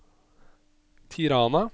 Tirana